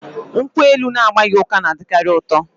Nkwụ elu na-agbaghị ụka na-adịkarị ụtọ